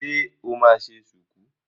Ṣe o máa ṣe ṣùkú?